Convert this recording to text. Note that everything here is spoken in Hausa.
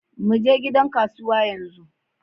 Muje gidan kasuwa yanzu.